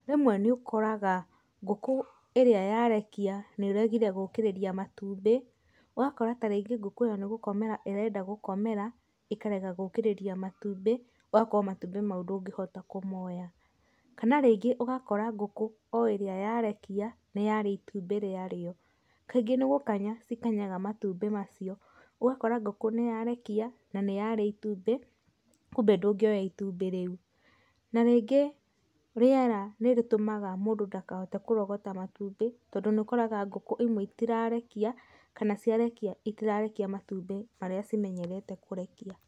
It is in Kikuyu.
Rĩmwe nĩ ũkoraga ngũkũ ĩrĩa yarekia nĩregire gũkĩrĩria matumbĩ, ũgakora tarĩngĩ ngũkũ ĩyo nĩ gũkomera ĩrenda gũkomera ĩkarega gũkĩrĩria matumbĩ, ũgakorwo matumbĩ mau ndũngĩhota kũmoya. Kana rĩngĩ ũgakora ngũkũ o ĩrĩa yarekia nĩyarĩa itumbĩ rĩarĩo, kaingĩ nĩ gũkanya cikanyaga matumbĩ macio, ũgakora ngũkũ nĩyarekia na nĩyarĩa itumbĩ kumbe ndũngĩoya itumbĩ rĩu. Na rĩngĩ rĩera nĩrĩtũmaga mũndũ ndakahote kũrogota matumbĩ, tondũ nĩ ũkoraga ngũkũ imwe itirarekia, kana ciarekia itirarekia matumbĩ marĩa cimenyerete kũrekia.